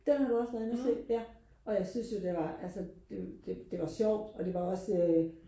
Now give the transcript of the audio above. den har du også været inde ja og jeg synes jo det var altså det det var sjovt og det var også øh